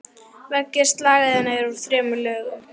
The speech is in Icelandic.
Veggir slagæðanna eru úr þremur lögum.